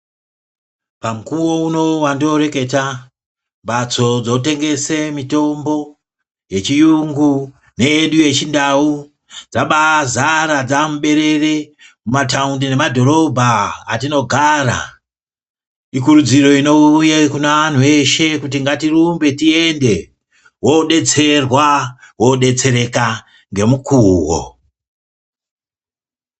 Pamukuwo uno wandinoreketabatso dzinotenge mitombo yechiyungu neyedu yechindau dzabazara dzamuberere , mumataundi nemadhorobha atinogara, ikurudziro inouye kune anhu eshe kuti ngatirumbe tiende wodetsereka wodetsereka ngemukuwo.